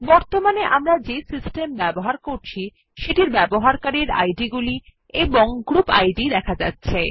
বর্তমানে আমরা যে সিস্টেম ব্যবহার করছি সেটির ব্যবহারকারীদের আইডিগুলি এবং গ্রুপ ID এ দেখা যাচ্ছে